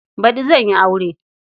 Baɗi zan yi aure.